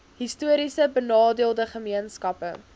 histories benadeelde gemeenskappe